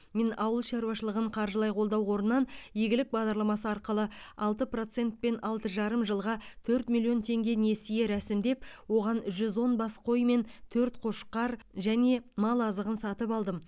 мен ауыл шаруашылығын қаржылай қолдау қорынан игілік бағдарламасы арқылы алты процентпен алты жарым жылға төрт миллион теңге несие рәсімдеп оған жүз он бас қой мен төрт қошқар және мал азығын сатып алдым